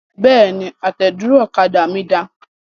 Bẹ́ẹ̀ni, àtẹ̀dúró ọ̀kadà mí da.